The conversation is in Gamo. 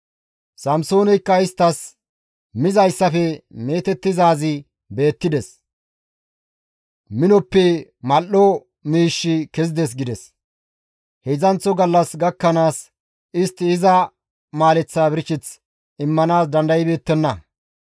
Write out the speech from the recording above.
Samsooneykka isttas, «Mizayssafe meetettizaazi beettides. Minoppe mal7o miishshi kezides» gides. Heedzdzanththo gallas gakkanaas istti iza maaleththaa birsheth immanaas dandaybeettenna.